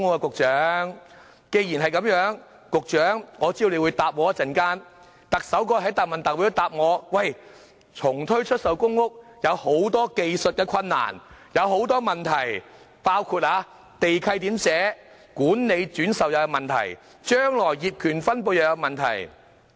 我知道局長稍後會回應，而特首在答問會上亦答覆我，說重推出售公屋有很多技術困難和問題，包括地契內容、管理轉售問題和將來的業權分配問題。